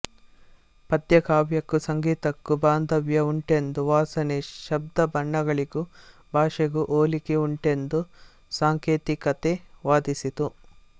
ಪದ್ಯಕಾವ್ಯಕ್ಕೂ ಸಂಗೀತಕ್ಕೂ ಬಾಂಧವ್ಯ ಉಂಟೆಂದೂ ವಾಸನೆ ಶಬ್ದ ಬಣ್ಣಗಳಿಗೂ ಭಾಷೆಗೂ ಹೋಲಿಕೆ ಉಂಟೆಂದು ಸಾಂಕೇತಿಕತೆ ವಾದಿಸಿತು